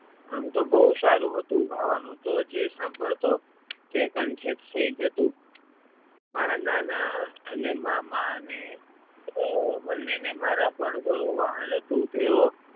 આમ તો બહુ સારું હતું ગાવાનું જે સાંભળતો તે કંઠે થઈ જતું. મારા નાના અને મામાને બંને મારા પર ઘણું વહાલ હતું તેઓ